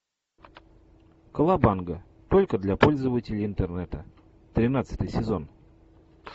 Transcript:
колобанга только для пользователей интернета тринадцатый сезон